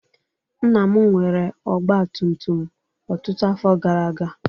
Nna m nwere ọgba tum tum ọtụtụ afọ gara aga.